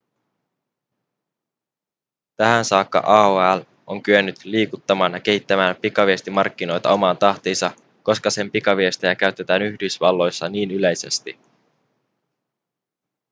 tähän saakka aol on kyennyt liikuttamaan ja kehittämään pikaviestimarkkinoita omaan tahtiinsa koska sen pikaviestejä käytetään yhdysvalloissa niin yleisesti